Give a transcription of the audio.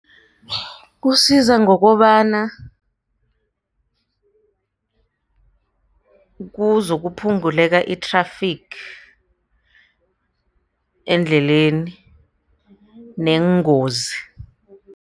Kusiza ngokobana kuzokuphunguleka i-traffic endleleni neengozi.